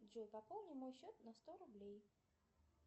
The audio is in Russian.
джой пополни мой счет на сто рублей